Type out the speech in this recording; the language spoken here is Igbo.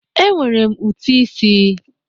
E nwere m ụti ịsị.